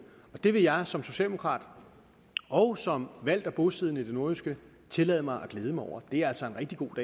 det vil jeg som socialdemokrat og som valgt og bosiddende i det nordjyske tillade mig at glæde mig over det er altså en rigtig god